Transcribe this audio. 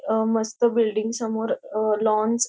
अ मस्त बिल्डिंग समोर अ लॉन्स --